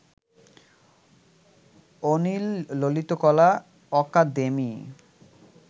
Anil Lalit Kala academy